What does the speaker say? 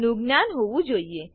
નું જ્ઞાન હોવું જોઈએ